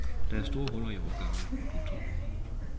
Der er store huller i årgangene. punktum